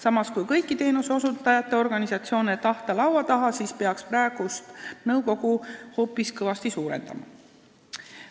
Samas, kui tahta kõiki teenuseosutajate organisatsioone laua taha, siis peaks praegust nõukogu hoopis kõvasti suurendama.